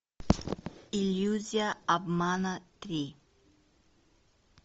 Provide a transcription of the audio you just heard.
иллюзия обмана три